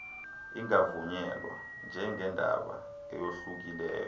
ingavunyelwa njengendaba eyohlukileyo